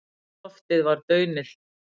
Loftið var daunillt.